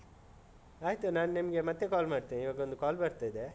ಆಯ್ತು ನಾ ನಿಮ್ಗೆ ಮತ್ತೆ call ಮಾಡ್ತೇನೆ. ಇವಗೊಂದು call ಬರ್ತಾ ಇದೆ.